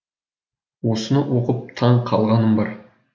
осыны оқып таң қалғаным бар